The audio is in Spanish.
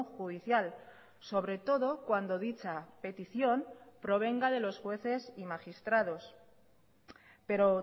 judicial sobre todo cuando dicha petición provenga de los jueces y magistrados pero